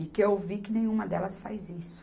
E que eu vi que nenhuma delas faz isso.